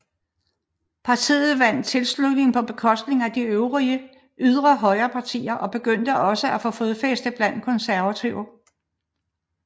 Partiet vandt tilslutning på bekostning af de øvrige ydre højrepartier og begyndte også at få fodfæste blandt konservative